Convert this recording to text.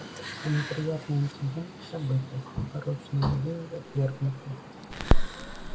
все неприятные инциденты забыты порочные идеи отвергнуты